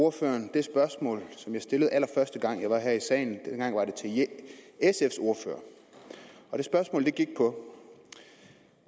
ordføreren det spørgsmål som jeg stillede allerførste gang jeg var her i salen dengang var det til sfs ordfører og det spørgsmål gik på